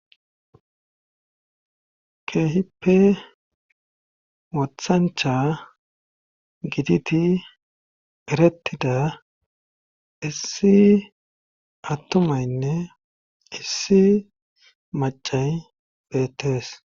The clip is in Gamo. Keehippe wothancha giditi perettida issi attumaynne issi macay beettees